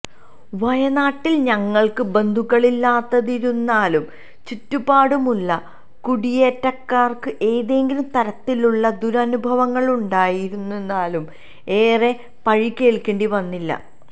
വയനാട്ടിൽ ഞങ്ങൾക്ക് ബന്ധുക്കളില്ലാതിരുന്നതിനാലും ചുറ്റുപാടുമുളള കുടിയേറ്റക്കാർക്ക് ഏതെങ്കിലും തരത്തിലുളള ദുരനുഭവങ്ങളുണ്ടായിരുന്നതിനാലും ഏറെ പഴി കേൾക്കേണ്ടി വന്നില്ല